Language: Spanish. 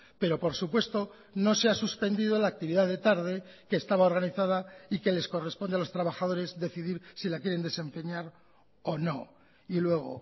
pero por supuesto no se ha suspendido la actividad de tarde que estaba organizada y que les corresponde a los trabajadores decidir si la quieren desempeñar o no y luego